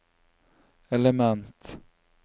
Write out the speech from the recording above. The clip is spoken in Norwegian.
element